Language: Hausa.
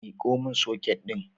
Miko mun soket ɗin